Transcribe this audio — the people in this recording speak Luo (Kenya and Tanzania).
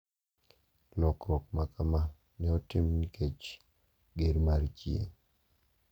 Lokruok makama ne otim nikech ger mar chieng`